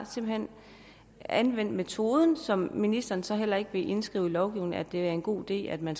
anvendt metoden som ministeren så heller ikke vil indskrive i lovgivningen er en god idé at man